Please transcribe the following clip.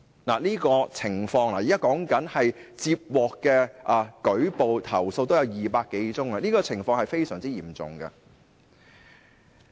現在說的是接獲的投訴已有200多宗，情況是非常嚴重的。